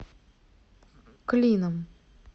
клином